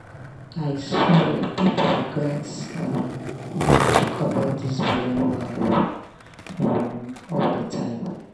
i swear people gats um dey talk about this belle wahala um all the time